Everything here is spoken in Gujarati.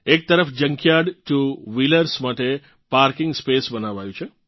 એક તરફ જંકયાર્ડ ટુ વ્હિલર્સ માટે પાર્કિંગ સ્પેસ બનાવાયું છે